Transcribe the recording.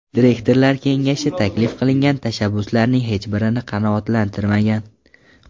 Direktorlar kengashi taklif qilingan tashabbuslarning hech birini qanoatlantirmagan.